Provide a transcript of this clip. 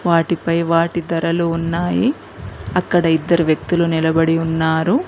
వాటిపై వాటి ధరలు ఉన్నాయి అక్కడ ఇద్దరు వ్యక్తులు నిలబడి ఉన్నారు.